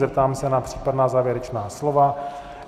Zeptám se na případná závěrečná slova.